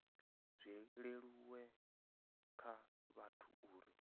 zwi leluwe kha vhathu uri